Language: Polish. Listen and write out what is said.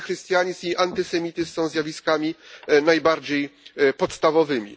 Antychrystianizm i antysemityzm są zjawiskami najbardziej podstawowymi.